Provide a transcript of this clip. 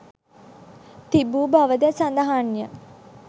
තිබූ බවද සඳහන්ය.